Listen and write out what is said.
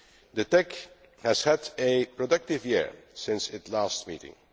The TEC has had a productive year since its last meeting.